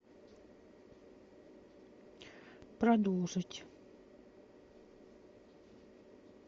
продолжить